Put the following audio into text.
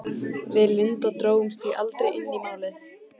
Við Linda drógumst því aldrei inn í Málið.